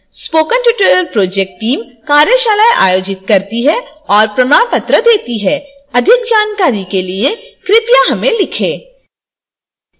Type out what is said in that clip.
spoken tutorial project team: कार्यशालाएं आयोजित करती है और प्रमाण पत्र देती है